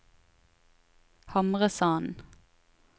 Hamresanden